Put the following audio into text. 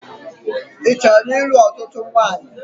Ị chọrọ ịlụ̣ ọ̣tụ̣tụ̣ nwanyị?